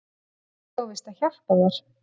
Ég á víst að hjálpa þér.